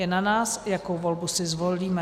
Je na nás, jakou volbu si zvolíme.